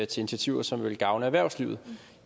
til initiativer som vil gavne erhvervslivet